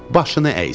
Başına əysin.